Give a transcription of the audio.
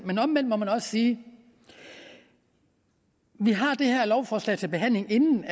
men omvendt må man også sige at vi har det her lovforslag til behandling inden